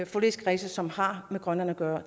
forligskredsene som har med grønland at gøre